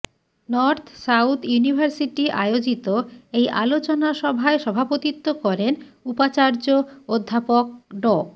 north south university আয়োজিত এই আলোচনা সভায় সভাপতিত্ব করেন উপাচার্য অধ্যাপক ড